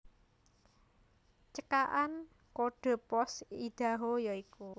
Cekakan kodhe pos Idaho ya iku